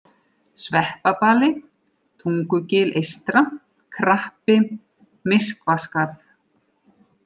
Sveppabali, Tungugil eystra, Krappi, Myrkvaskarð